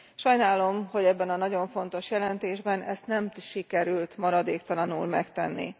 Sajnálom, hogy ebben a nagyon fontos jelentésben ezt nem sikerült maradéktalanul megtenni.